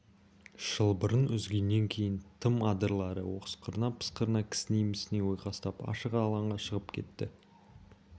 шылбырын үзгеннен кейін тым адырлары осқырына-пысқырына кісіней-місіней ойқастап ашық алаңға шығып кетті